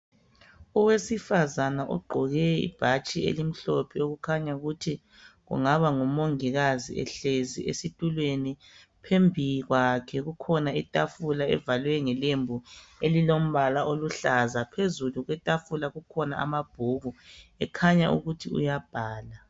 Owesifazane ugqoke ibhatshi elimhlophe okukhanya ukuthi kungaba ngumongikazi ehlezi esitulweni. Phambi kwakhe kukhona itafula evalwe ngelembu elilombala oluhlaza. Phezulu kwetafula kukhona amabhuku ekhanya ukuthi uyabhala.